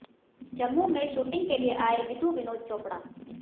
जम्मू में शूटिंग के लिए आए विधु विनोद चोपड़ा